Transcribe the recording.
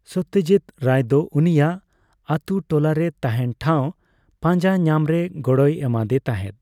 ᱥᱚᱛᱛᱚᱡᱤᱛ ᱨᱟᱭ ᱫᱚ ᱩᱱᱤᱭᱟᱜ ᱟᱛᱳᱼᱴᱚᱞᱟᱨᱮ ᱛᱟᱸᱦᱮᱱ ᱴᱷᱟᱣ ᱯᱟᱸᱡᱟ ᱧᱟᱢᱨᱮ ᱜᱚᱲᱚᱭ ᱮᱢᱟᱫᱮ ᱛᱟᱸᱦᱮᱫ ᱾